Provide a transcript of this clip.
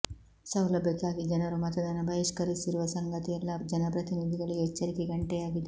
ಸೌಲಭ್ಯಕ್ಕಾಗಿ ಜನರು ಮತದಾನ ಬಹಿಷ್ಕರಿಸಿರುವ ಸಂಗತಿ ಎಲ್ಲ ಜನಪ್ರತಿನಿಧಿಗಳಿಗೆ ಎಚ್ಚರಿಕೆ ಗಂಟೆಯಾಗಿದೆ